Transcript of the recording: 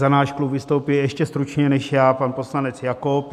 Za náš klub vystoupí ještě stručněji než já pan poslanec Jakob.